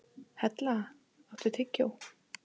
Hella, áttu tyggjó?